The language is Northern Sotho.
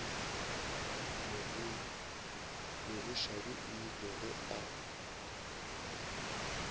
mogoshadi o ile ge a